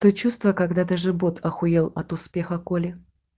то чувство когда ты же бот ахуел от успеха колли